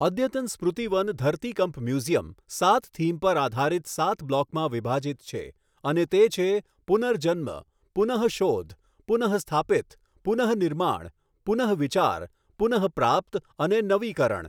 અદ્યતન સ્મૃતિ વન ધરતીકંપ મ્યુઝિયમ સાત થીમ પર આધારિત સાત બ્લોકમાં વિભાજિત છે, અને તે છે પુનર્જન્મ, પુનઃશોધ, પુનઃસ્થાપિત, પુનઃનિર્માણ, પુનઃવિચાર, પુનઃપ્રાપ્ત અને નવીકરણ.